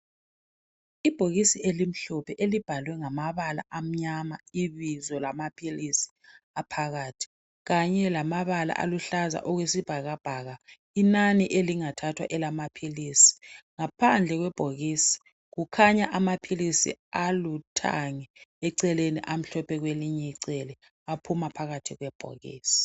Ibhokisi elimhlophe elibhalwe ngamabala amnyama ibizo lama philisi aphakathi kanye lamabala aluhlaza okwesibhakabhaka. Inani elingathathwa elamaphilisi ngaphandle kwebhokisi kukhanya amaphilisi aluthange eceleni amhlophe kwelinye icele aphuma phakathi kwebhokisi.